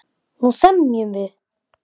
Nú semjum við!